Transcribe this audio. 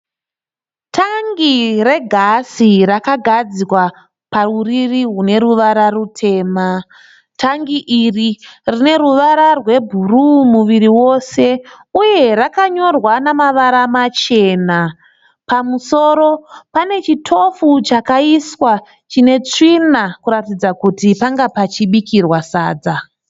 Tangi re gasi rakagadzwa pauriri rune ruvara rutema tangi iri rine ruvara rwebhuruu muviri wose. Uye rakanyorwa namavara machena pamusoro pane chitofu chakaiswa chine tsvina kuratidza kuti panga pachibikirwa sadza.